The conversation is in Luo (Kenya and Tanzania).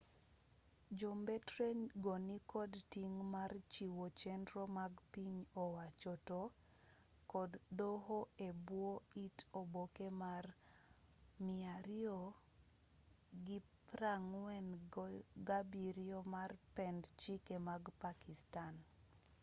jo mbetre go nikod ting' mar chiwo chenro mag piny owacho to kod doho e bwo it oboke mar 247 mar pend chike mag pakistan